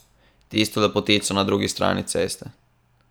Tisto lepotico na drugi strani ceste.